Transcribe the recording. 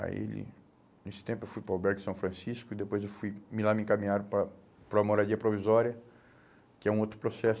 Aí, nesse tempo, eu fui para o Albergue São Francisco e depois eu fui, me lá me encaminharam para, para a moradia provisória, que é um outro processo.